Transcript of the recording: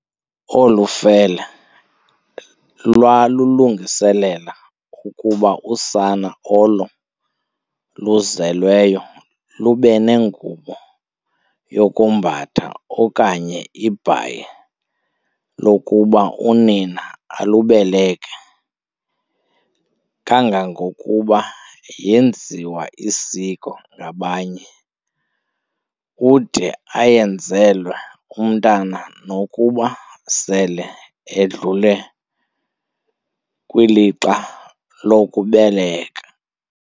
Olufele lwalulungiselela ukuba usana olo luzelweyo lubenengubo yokombatha okanye ibhayi lokuba unina alubeleke. Kangangokuba yeenziwa isiko ngabanye, ude ayenzelwe umntwana nokuba sele edlule kwilixa lokubelekwa.